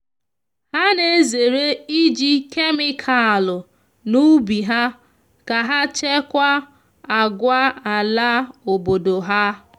ha na ezere iji kemikalụ na ubi ha ka ha chekwaa àgwà ala obodo ha.